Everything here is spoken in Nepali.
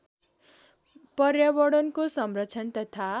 पर्यावरणको संरक्षण तथा